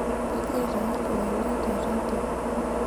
ejeito aa iltung'anak teredio